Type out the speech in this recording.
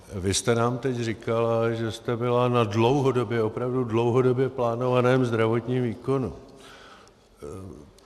Vy jste nám teď říkala, že jste byla na dlouhodobě, opravdu dlouhodobě plánovaném zdravotním výkonu.